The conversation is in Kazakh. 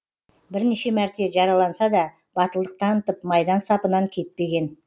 бірнеше мәрте жараланса да батылдық танытып майдан сапынан кетпеген